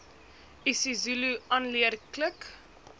isizulu aanleer klik